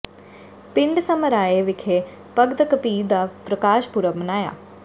ਪਿੰਡ ਸਮਰਾਏ ਵਿਖੇ ਭਗਤ ਕਬੀਰ ਦਾ ਪ੍ਰਕਾਸ਼ ਪੁਰਬ ਮਨਾਇਆ